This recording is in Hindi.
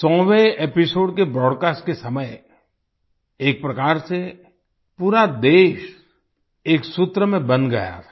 100वें एपिसोड के ब्रॉडकास्ट के समय एक प्रकार से पूरा देश एक सूत्र में बंध गया था